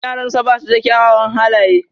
Yaransa ba su da kyawawan halaye.